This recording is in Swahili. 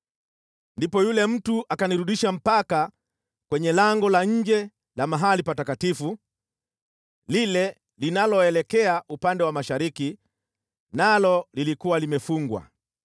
Ndipo yule mtu akanirudisha mpaka kwenye lango la nje la mahali Patakatifu, lile linaloelekea upande wa mashariki, nalo lilikuwa limefungwa.